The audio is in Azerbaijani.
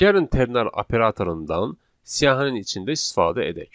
Gəlin ternar operatorundan siyahının içində istifadə edək.